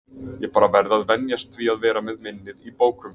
Ég bara verð að venjast því að vera með minnið í bókum.